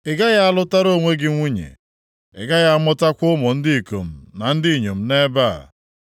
“Ị gaghị alụtara onwe gị nwunye, ị gaghị amụtakwa ụmụ ndị ikom na ndị inyom nʼebe a.”